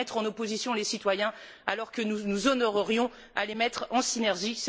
C'est mettre en opposition les citoyens alors que nous nous honorerions à les mettre en synergie.